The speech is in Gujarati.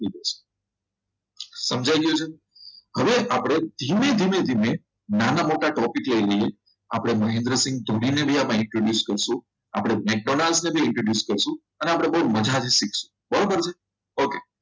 સમજાઈ ગયું છે હવે આપણે ધીમે ધીમે રીતે નાના મોટા topic લઈ લઈએ આપણે મહેન્દ્રસિંહ ધોનીને આમાં introduce કરશો આપણે McDonald's ને પણ introduce કરશો અને આપણે બહુ મજાથી શીખશો બરાબર છે ઓકે